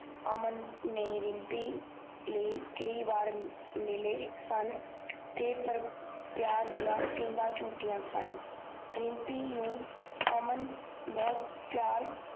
ਅਮਨ ਨੇ ਰਿਮਪੀ ਲੇਇ ਮਿਲੇ ਸਨ ਪਰ ਪਿਆਰ ਦੀਆ ਪਿੰਗਾ ਚੁਠਿਆਂ ਸਨ ਰਿਮਪੀ ਨੂੰ ਅਮਨ ਬਹੁਤ ਪਿਆਰ